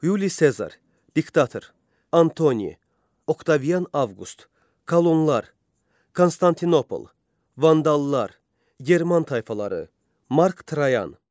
Yuli Sezar, diktator, Antoni, Oktavian Avqust, kolonlar, Konstantinopol, vandallar, German tayfaları, Mark Trayan.